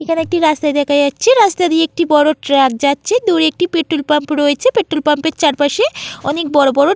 এখানে একটি রাস্তা দেখা যাচ্ছে রাস্তা দিয়ে একটি বড় ট্র্যাক যাচ্ছে |দূরে একটি পেট্রোল পাম্প রয়েছে |পেট্রোল পাম্প -এর চারপাশে অনেক বড় বড় --